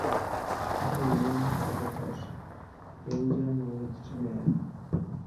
Ore emion orubat, wejian owejitin neyaa.